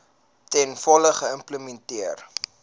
ten volle geïmplementeer